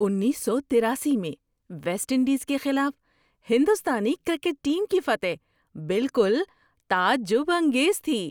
انیس سو تراسی میں ویسٹ انڈیز کے خلاف ہندوستانی کرکٹ ٹیم کی فتح بالکل تعجب انگیز تھی۔